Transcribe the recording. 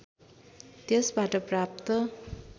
त्यसबाट प्राप्त